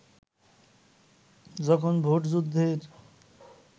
যখন ভোটযুদ্ধের